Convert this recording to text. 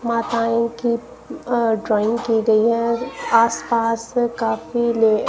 माताएं की अह ड्राइंग की गई हैं और आस पास काफी ले--